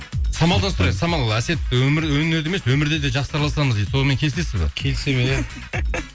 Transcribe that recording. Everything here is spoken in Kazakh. самалдан сұрайық самал әсет өнерде емес өмірде де жақсы араласамыз дейді сонымен келісесіз бе келісе беремін